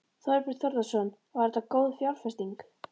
Þorbjörn Þórðarson: Var þetta góð fjárfesting?